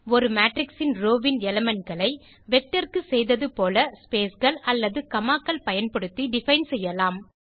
ஒரு மேட்ரிக்ஸ் இன் ரோவ் வின் Elementகளை வெக்டர் க்கு செய்தது போல spaceகள் அல்லது commaகள் பயன்படுத்தி டிஃபைன் செய்யலாம்